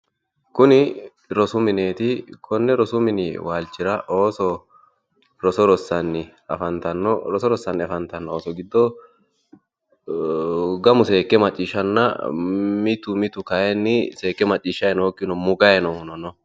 Kuni rosu mineti koni rosu waalchira ooso roso rossaanna mitu mitu seekke macciishshanna mitu mitu mugganni nootta leellishano